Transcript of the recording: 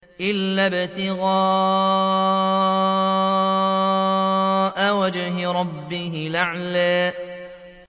إِلَّا ابْتِغَاءَ وَجْهِ رَبِّهِ الْأَعْلَىٰ